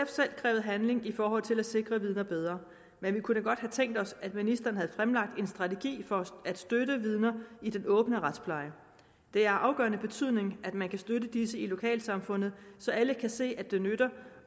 selv krævet handling i forhold til at sikre vidner bedre men vi kunne godt have tænkt os at ministeren havde fremlagt en strategi for at støtte vidner i den åbne retspleje det er af afgørende betydning at man kan støtte disse i lokalsamfundet så alle kan se at det nytter